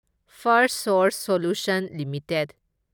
Firstsource Solutions limited